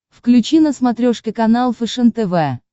включи на смотрешке канал фэшен тв